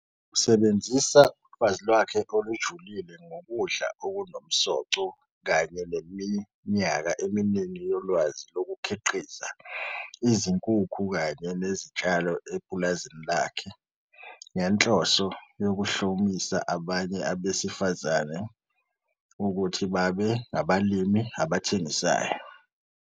Usebenzisa ulwazi lwakhe olujulile ngokudla okunomsoco kanye neminyaka eminingi yolwazi lokukhiqiza izinkukhu kanye nezitshalo epulazini lakhe ngenhloso yokuhlomisa abanye besifazane ukuthi babe ngabalimi abathengisayo.